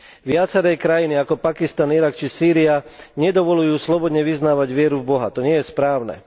Viaceré krajiny ako Pakistan, Irak či Sýria nedovoľujú slobodne vyznávať vieru v boha, to nie je správne.